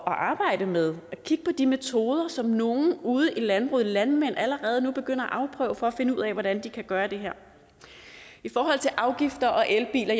arbejde med og kigge på de metoder som nogle ude i landbruget landmænd allerede nu begynder at afprøve for at finde ud af hvordan de kan gøre det her i forhold til afgifter og elbiler